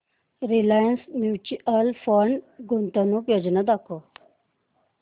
Reliance mutual fund गुंतवणूक योजना दाखव